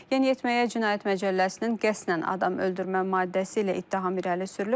Yeniyetməyə Cinayət Məcəlləsinin qəsdən adam öldürmə maddəsi ilə ittiham irəli sürülüb.